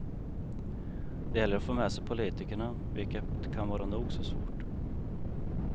Det gäller att få med sig politikerna, vilket kan vara nog så svårt.